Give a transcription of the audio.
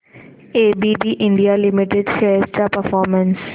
ABB India limited shares चा performance